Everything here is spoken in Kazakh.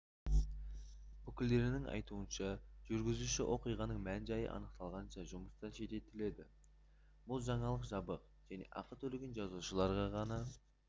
өкілдерінің айтуынша жүргізуші оқиғаның мән-жайы анықталғанша жұмыстан шеттетіледі бұл жаңалық жабық және ақы төлеген жазылушыларға ғана